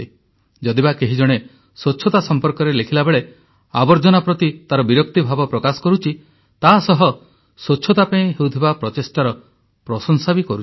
ଯଦିବା କେହି ଜଣେ ସ୍ୱଚ୍ଛତା ସମ୍ପର୍କରେ ଲେଖିବା ବେଳେ ଆବର୍ଜନା ପ୍ରତି ତାର ବିରକ୍ତି ଭାବ ପ୍ରକାଶ କରୁଛି ତାହାସହ ସ୍ୱଚ୍ଛତା ପାଇଁ ହେଉଥିବା ପ୍ରଚେଷ୍ଟାର ପ୍ରଶଂସା ମଧ୍ୟ କରୁଛି